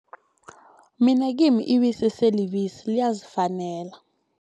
Mina kimi ibisi selibisi liyazifanela.